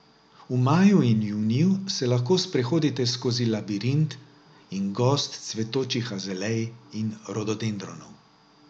V maju in juniju se lahko sprehodite skozi labirint in gozd cvetočih azalej in rododendronov.